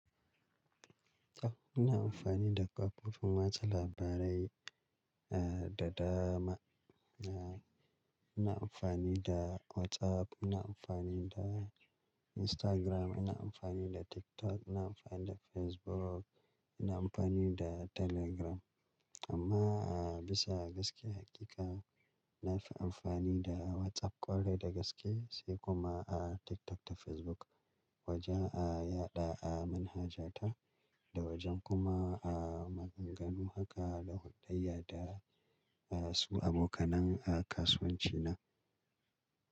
Ina amfani da ƙa'idodi watsa labarai, eh, da dama. Eh, ina amfani da WhatsApp, ina amfani da Instagram, ina amfani da TikTok, ina amfani da Facebook, ina amfani da Telegram. Amma, eh, bisa ga gaske hakika, na fi amfani da WhatsApp ƙwarai da gaske, sai kuma a TikTok da Facebook wajen a yaɗa a manhajata da wajen kuma a maganganu haka da hulɗayya da su abokanai a kasuwanci na.